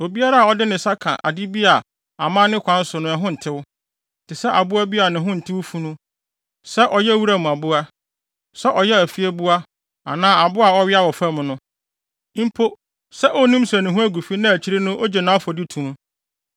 “ ‘Obiara a ɔde ne nsa ka ade bi a amanne kwan so no ɛho ntew, te sɛ aboa bi a ne ho ntew funu, sɛ ɔyɛ wuram aboa, sɛ ɔyɛ afieboa anaa aboa a ɔwea wɔ fam no, mpo sɛ onnim sɛ ne ho agu fi na akyiri no ogye nʼafɔdi to mu,